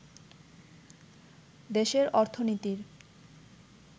দেশের অর্থনীতির